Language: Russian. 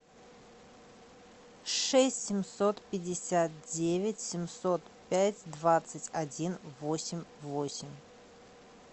шесть семьсот пятьдесят девять семьсот пять двадцать один восемь восемь